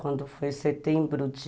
Quando foi setembro de...